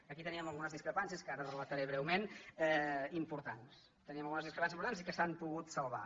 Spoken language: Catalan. aquí teníem algunes discrepàncies que ara relata·ré breument importants teníem algunes discrepàncies importants i que s’han pogut salvar